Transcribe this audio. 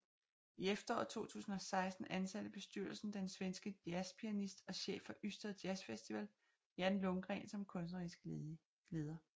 I efteråret 2016 ansatte bestyrelsen den svenske jazzpianist og chef for Ystad Jazzfestival Jan Lundgren som kunstnerisk leder